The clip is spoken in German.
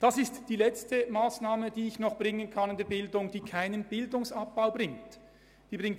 Es ist die letzte Massnahme im Bildungsbereich, die ich vorschlagen kann, die keinen Bildungsabbau mit sich bringt.